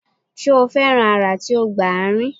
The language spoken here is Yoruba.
Ṣe o fẹran ara ti o gba aarin?